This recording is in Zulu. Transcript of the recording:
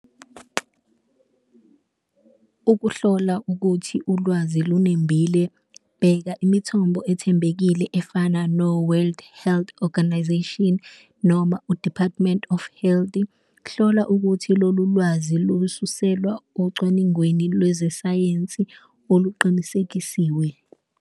Ukuhlola ukuthi ulwazi lunembile bheka imithombo ethembekile efana no-World Health Organization noma u-Department of Health, hlola ukuthi lolu lwazi lususelwa ocwaningweni lwezesayensi oluqinisekisiwe.